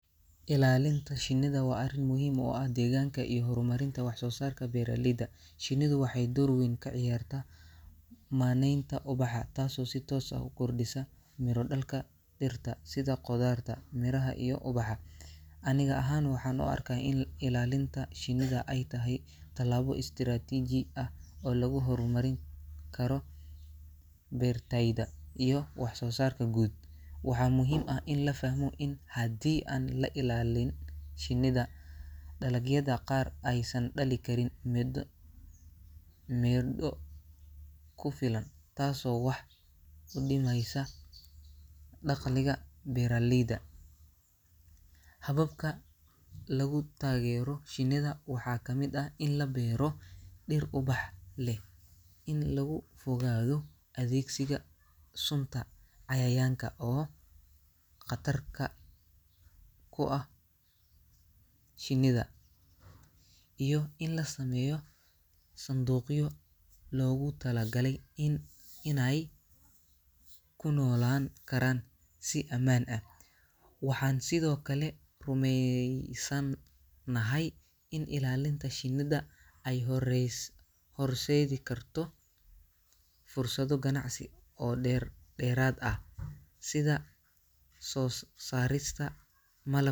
Ilaalinta shinnida waa arrin muhiim u ah deegaanka iyo horumarinta wax-soosaarka beeraleyda. Shinnidu waxay door weyn ka ciyaaraan maneynta ubaxa, taasoo si toos ah u kordhisa miro-dhalka dhirta sida khudaarta, miraha iyo ubaxa. Aniga ahaan, waxaan u arkaa in ilaalinta shinnida ay tahay tallaabo istaraatiiji ah oo lagu horumarin karo beertayda iyo wax-soosaarka guud. Waxaa muhiim ah in la fahmo in haddii aan la ilaalin shinnida, dalagyada qaar aysan dhalin karin mido midho ku filan, taasoo wax u dhimaysa dakhliga beeraleyda. Hababka lagu taageero shinnida waxaa ka mid ah in la beero dir ubax leh, in laga fogaado adeegsiga sunta cayayaanka oo khatarka ku ah shinnida, iyo in la sameeyo sanduuqyo loogu talagalay in inay ku noo laan karaan si ammaan ah. Waxaan sidoo kale rumeey sanahay in ilaalinta shinnida ay horees horseedi karto fursado ganacsi oo deer dheeraad ah sida soo saarista malab.